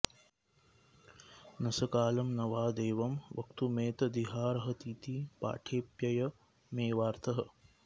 न स कालं न वा देवं वक्तुमेतदिहार्हतीति पाठेप्ययमेवार्थः